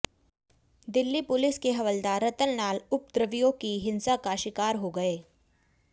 Delhi police के हवलदार रतनलाल उपद्रवियों की हिंसा का शिकार हो गए